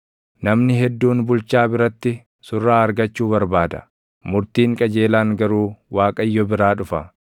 Namni hedduun bulchaa biratti surraa argachuu barbaada; murtiin qajeelaan garuu Waaqayyo biraa dhufa.